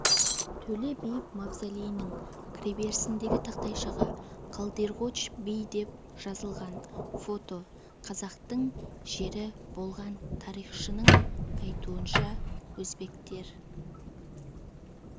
төле би мавзолейінің кіреберісіндегі тақтайшаға қалдирғоч би деп жазылған фото қазақтың жері болған тарихшының айтуынша өзбектер